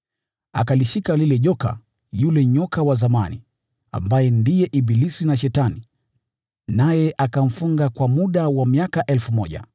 Akalishika lile joka, yule nyoka wa zamani, ambaye ndiye ibilisi au Shetani, naye akamfunga kwa muda wa miaka 1,000.